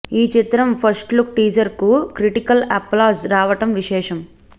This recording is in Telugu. ఈ చిత్రం ఫస్ట్ లుక్ టీజర్కి క్రిటికల్ అప్లాజ్ రావటం విశేషం